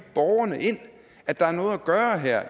borgerne ind at der er noget at gøre her